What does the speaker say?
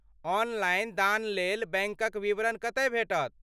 Online दानलेल बैंकक विवरण कतय भेटत?